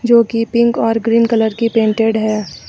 जो कि पिंक और ग्रीन कलर की पेंटेड है।